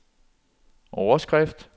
overskrift